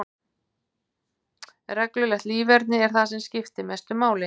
Reglulegt líferni er það sem skiptir mestu máli.